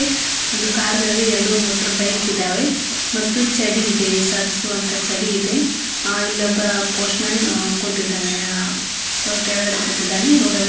ಒಂದು ಕಾರ್ಗಳು ಇದಾವೆ ಎರಡು ಮೋಟಾರ್ ಬೈಕ್ ಇದಾವೆ ಮತ್ತು ಚಡಿ ಇದೆ ಸರಿಸುವಂತ ಚಡಿ ಇದೆ ಇಲ್ಲೊಬ್ಬ ಪೋಸ್ಟ್ಮ್ಯಾನ್ ಕುಂತ್ತಿದ್ದಾನೆ ಕೆಳಗಡೆ ಕುಂತ್ತಿದ್ದಾನೆ ರೋಡ್ ಅಲ್ಲಿ --